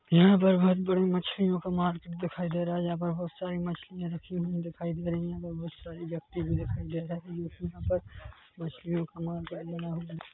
यहाँ पर बहोत बड़ी मछलियों का मार्केट दिखाई दे रहा है यहाँ पर बहोत सारी मछलियाँ रखी हुई दिखाई दे रही है और बहोत सारी व्यक्ति भी दिखाई दे रहे है मछलियों का मार्किट बना हुआ हैं।